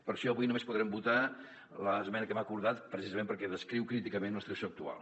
per això avui només podrem votar l’esmena que hem acordat precisament perquè descriu críticament la situació actual